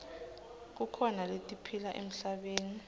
kukhona letiphila emhlabeni